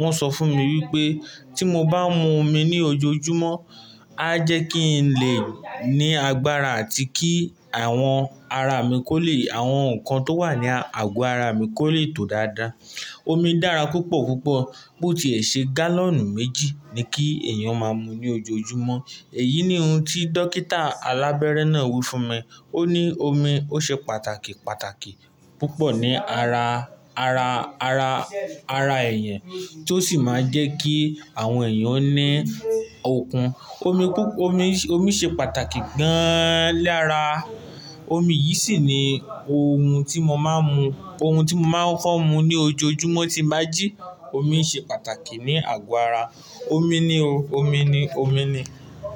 wọ́n sọ fún mi wípé tí mo bá ń mu omi ní ojoojúmọ́, á jẹ́ kí n lè ní agbára àti kí àwọn ara mi kò lè, àwọn nnkan tó wà ní àgọ́ ara mi kò lè tó dáadáa. Omi dára púpọ̀ púpọ̀ bó tiì ṣe gálọ̀nù méjì ni kí èèyàn máa mu ní ojoojúmọ́. Èyí ni ohun tí dókítà alábẹ́rẹ́ náà wí fún mi. Ó ní omi ó ṣe pàtàkì pàtàkì púpọ̀ ní ara, ara, ara, ara èèyàn tó sì máa jẹ́ kí àwọn èèyàn ó ní okun. Omi pú-- omi, omi ṣe pàtàkì gan-an lara, omi yìí sì ni ohun tí mo máa ń mu, ohun tí mo máa ń kokọ́ mu ní ojoojúmọ́ ti n bá jí. Omi ṣe pàtàkì ní àgọ́ ara. Omi ni o. Omi ni, omi ni.